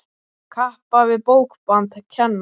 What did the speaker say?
Kappa við bókband kenna.